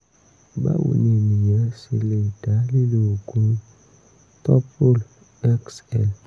báwo ni ènìyàn ṣe lè dá lílo oògùn toprol xl?